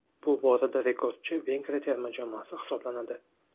Bu borada rekordchi Vengriya terma jamoasi hisoblanadi.